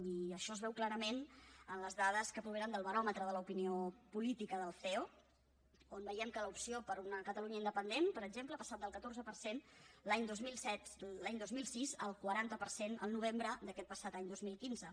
i això es veu clarament en les dades que provenen del baròmetre de l’opinió política del ceo on veiem que l’opció per una catalunya independent per exemple ha passat del catorze per cent l’any dos mil sis al quaranta per cent al novembre d’aquest passat any dos mil quinze